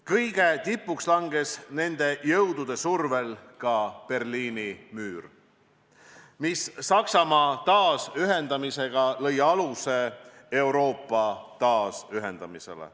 Kõige tipuks langes nende jõudude survel ka Berliini müür, mis koos Saksamaa taasühendamisega lõi aluse Euroopa taasühendamisele.